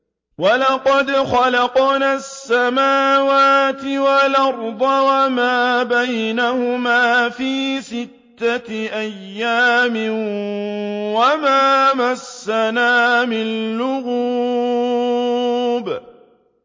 وَلَقَدْ خَلَقْنَا السَّمَاوَاتِ وَالْأَرْضَ وَمَا بَيْنَهُمَا فِي سِتَّةِ أَيَّامٍ وَمَا مَسَّنَا مِن لُّغُوبٍ